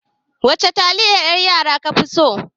Wace taliyar yan yara kuka fi so?